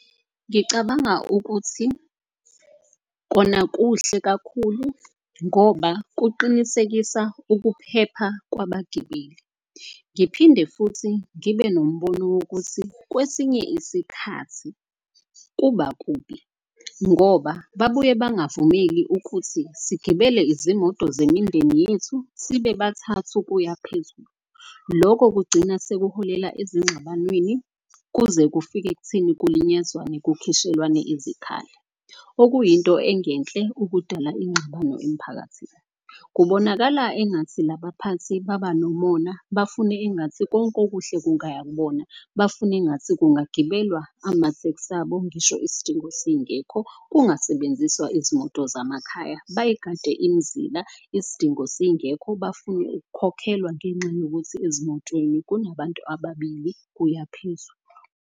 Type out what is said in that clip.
Ngicabanga ukuthi kona kuhle kakhulu ngoba kuqinisekisa ukuphepha kwabagibeli. Ngiphinde futhi ngibe nombono wokuthi kwesinye isikhathi kuba kubi. Ngoba babuye bangavumeli ukuthi sigibele izimoto zemindeni yethu, sibe bathathe ukuya phezulu. Loko kugcina sekuholela ezingxabanweni kuze kufike ekutheni kulinyazwe kukhishwelwane izikhali. Okuyinto engenhle ukudala ingxabano emphakathini. Kubonakala engathi labaphathi baba nomona, bafune engathi konke okuhle kungaya kubona. Bafune engathi kungagibelwa amatheksi abo ngisho isidingo singekh. Kungasebenziswa izimoto zamakhaya. Bayigade imizila isidingo singekho, bafune ukukhokhelwa ngenxa yokuthi ezimotweni kunabantu ababili kuyaphezulu.